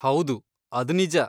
ಹೌದು, ಅದ್ ನಿಜ.